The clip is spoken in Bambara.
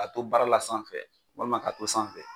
Ka to baara la sanfɛ walima ka to sanfɛ.